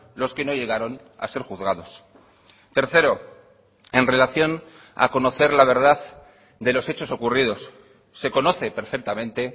los que no llegaron a ser juzgados tercero en relación a conocer la verdad de los hechos ocurridos se conoce perfectamente